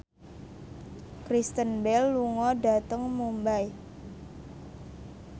Kristen Bell lunga dhateng Mumbai